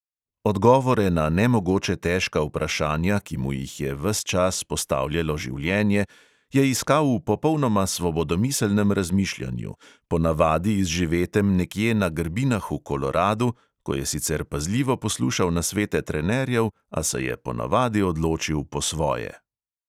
Odgovore na nemogoče težka vprašanja, ki mu jih je ves čas postavljalo življenje, je iskal v popolnoma svobodomiselnem razmišljanju, ponavadi izživetem nekje na grbinah v koloradu, ko je sicer pazljivo poslušal nasvete trenerjev, a se ponavadi odločil po svoje.